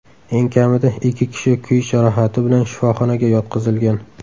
Eng kamida ikki kishi kuyish jarohati bilan shifoxonaga yotqizilgan.